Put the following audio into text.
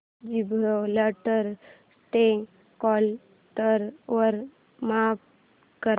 Gibraltar day calendar वर mark कर